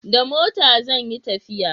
da mota zan yi tafiya